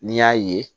N'i y'a ye